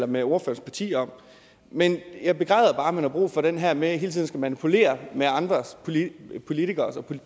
med ordførerens parti om men jeg begræder bare at man har brug for den her med hele tiden at skulle manipulere med andre politikeres og